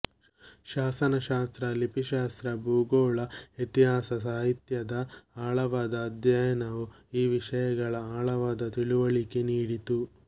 ಶಾಸನ ಶಾಸ್ತ್ರ ಲಿಪಿಶಾಸ್ತ್ರ ಭೂಗೋಳ ಇತಿಹಾಸ ಸಾಹಿತ್ಯದ ಆಳವಾದ ಅಧ್ಯಯನವು ಆ ವಿಷಯಗಳ ಆಳವಾದ ತಿಳುವಳಿಕೆ ನೀಡಿತು